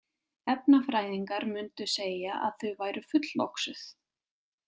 Efnafræðingar mundu segja að þau væru fulloxuð.